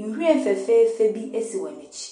Nhwiren fɛfɛɛfɛ bi esi wɔn ekyi.